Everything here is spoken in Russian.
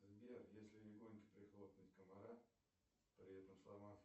сбер если легонько прихлопнуть комара при этом сломав